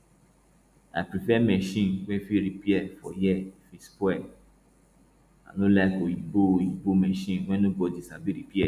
i prefer machine wey fit repair for here if e spoil i no like oyinbo oyinbo machine wey nobody sabi repair